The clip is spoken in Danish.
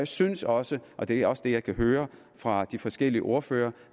synes også og det er også det jeg kan høre fra de forskellige ordførere